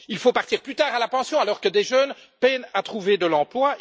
Il faut partir plus tard à la pension, alors que des jeunes peinent à trouver un emploi.